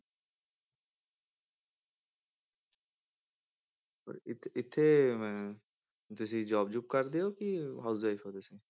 ਪਰ ਇੱਥੇ ਇੱਥੇ ਤੁਸੀਂ job ਜੂਬ ਕਰਦੇ ਹੋ ਕਿ housewife ਹੋ ਤੁਸੀਂ,